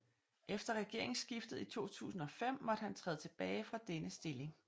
Efter regeringssskiftet i 2005 måtte han træde tilbage fra denne stilling